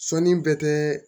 Sɔnni bɛ kɛ